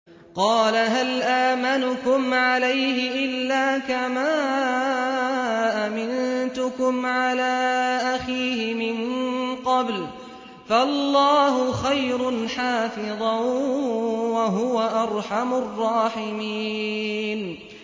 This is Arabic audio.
قَالَ هَلْ آمَنُكُمْ عَلَيْهِ إِلَّا كَمَا أَمِنتُكُمْ عَلَىٰ أَخِيهِ مِن قَبْلُ ۖ فَاللَّهُ خَيْرٌ حَافِظًا ۖ وَهُوَ أَرْحَمُ الرَّاحِمِينَ